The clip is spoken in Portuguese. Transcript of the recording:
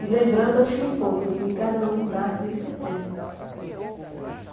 E lembrando, assim, um pouco, que cada um dá aquilo que tem.